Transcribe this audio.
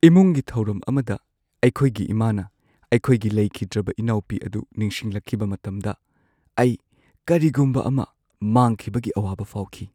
ꯏꯃꯨꯡꯒꯤ ꯊꯧꯔꯝ ꯑꯃꯗ ꯑꯩꯈꯣꯏꯒꯤ ꯏꯃꯥꯅ ꯑꯩꯈꯣꯏꯒꯤ ꯂꯩꯈꯤꯗ꯭ꯔꯕ ꯏꯅꯥꯎꯄꯤ ꯑꯗꯨ ꯅꯤꯡꯁꯤꯡꯂꯛꯈꯤꯕ ꯃꯇꯝꯗ ꯑꯩ ꯀꯔꯤꯒꯨꯝꯕ ꯑꯃ ꯃꯥꯡꯈꯤꯕꯒꯤ ꯑꯋꯥꯕ ꯐꯥꯎꯈꯤ꯫